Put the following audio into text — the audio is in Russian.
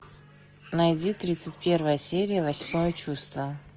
найди тридцать первая серия восьмое чувство